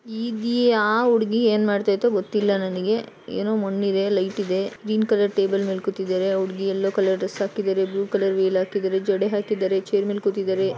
ಈ ಗೀ ಆ ಹುಡ್ಗಿ ಏನ್ ಮಾಡ್ಥೈ ತೊ ಗೊತ್ತಿಲ್ಲ ನನ್ಗೆ. ಏನೊ ಮಣ್ ಇದೆ ಲೈಟ್ ಇದೆ ಗ್ರೀನ್ ಕಲರ್ ಟೇಬಲ್ ಮೇಲ್ ಕೂತಿದಾರೆ. ಆ ಹುಡ್ಗಿ ಯಲ್ಲೋ ಕಲರ್ ಡ್ರೆಸ್ ಹಾಕಿದಾರೆ ಬ್ಲೂ ಕಲರ್ ವೇಲ್ ಹಾಕಿದಾರೆ ಜಡೆ ಹಾಕಿದಾರೆ ಚೇರ್ ಮೇಲ್ ಕೂತಿದಾರೆ.